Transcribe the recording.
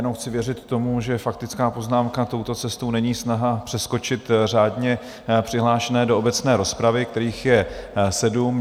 Jenom chci věřit tomu, že faktická poznámka touto cestou není snaha přeskočit řádně přihlášené do obecné rozpravy, kterých je sedm.